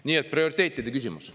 Nii et prioriteetide küsimus.